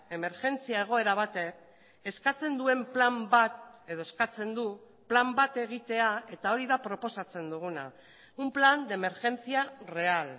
emergentzia egoera batek eskatzen duen plan bat edo eskatzen du plan bat egitea eta hori da proposatzen duguna un plan de emergencia real